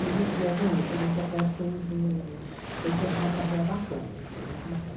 E a gente viajou muito, a gente até fez um fez... Teve uma carreira bacana, assim, muito bacana.